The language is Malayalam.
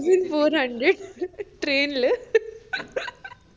thousand four hundred train ല